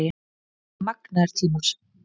Þetta voru magnaðir tímar